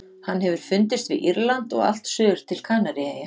Hann hefur fundist við Írland og allt suður til Kanaríeyja.